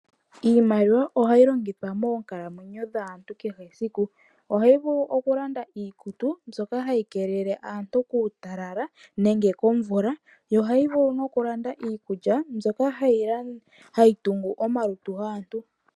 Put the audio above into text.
Iimaliwa ohayi longithwa kaantu monkalamwenyo yesiku kehe. Ohayi vulu okulanda iikutu mbyoka hayi keelele aantu kuutalala oshowo iikulya mbyono hayi tungu omalutu gaantu.